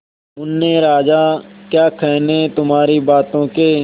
मुन्ने राजा क्या कहने तुम्हारी बातों के